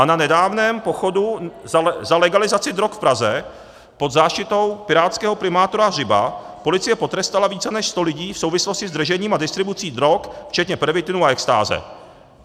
A na nedávném pochodu za legalizaci drog v Praze pod záštitou pirátského primátora Hřiba policie potrestala více než sto lidí v souvislosti s držením a distribucí drog včetně pervitinu a extáze.